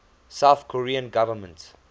south korean government